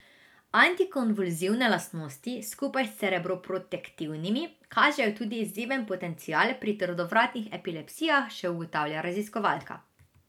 Antikonvulzivne lastnosti skupaj z cerebroprotektivnimi kažejo tudi izjemen potencial pri trdovratnih epilepsijah, še ugotavlja raziskovalka.